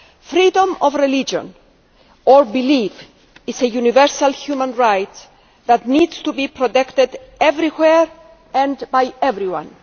Freedom of religion or belief is a universal human right that needs to be protected everywhere and by everyone.